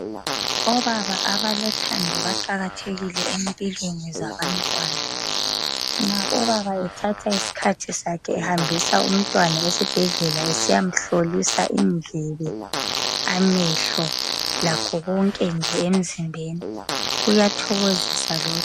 Obaba abalothando baqakathekile empilweni zabantwana. Nxa ubaba ethatha isikhathi sakhe ehambisa umntwana esibhedlela esiyamhlolisa indlebe, amehlo , lakho konke nje emzimbeni, kuyathokozisa lokho.